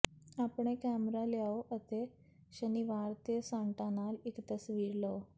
ਆਪਣੇ ਕੈਮਰਾ ਲਿਆਓ ਅਤੇ ਸ਼ਨੀਵਾਰ ਤੇ ਸਾਂਟਾ ਨਾਲ ਇੱਕ ਤਸਵੀਰ ਲਓ